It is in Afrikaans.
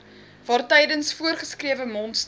waartydens voorgeskrewe monsters